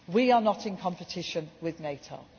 We are not in competition with